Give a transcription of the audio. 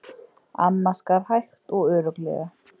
Amma skar hægt og örugglega.